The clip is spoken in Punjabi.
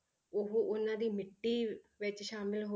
ਉਹ ਉਹਨਾਂ ਦੀ ਮਿੱਟੀ ਵਿੱਚ ਸ਼ਾਮਿਲ ਹੋ